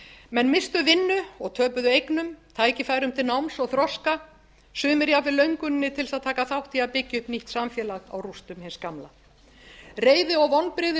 menn misstu vinnu og töpuðu eignum tækifærum til náms og þroska sumir jafnvel lönguninni til þess að taka þátt í að byggja upp nýtt samfélag á rústum hins gamla reiði og vonbrigði